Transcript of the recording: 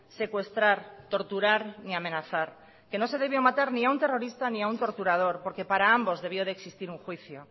secuestrar torturar ni amenazar que no se debió matar ni a un terrorista ni a un torturador porque para ambos debió de existir un juicio